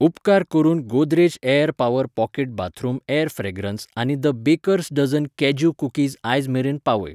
उपकार करून Godrej air power pocket bathroom air fragrance आनी the bakers dozen cashew cookies आयज मेरेन पावय.